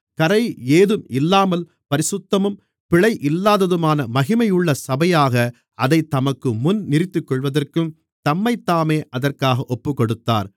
கறையேதும்இல்லாமல் பரிசுத்தமும் பிழை இல்லாததுமான மகிமையுள்ள சபையாக அதைத் தமக்குமுன் நிறுத்திக்கொள்வதற்கும் தம்மைத்தாமே அதற்காக ஒப்புக்கொடுத்தார்